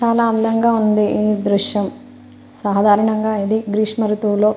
చాలా అందంగా ఉంది ఈ దృశ్యం సాధారణంగా గ్రీష్మ ఋతువులో.